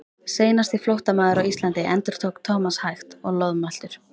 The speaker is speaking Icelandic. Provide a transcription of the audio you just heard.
Seinasti flóttamaður á Íslandi endurtók Thomas hægt og loðmæltur.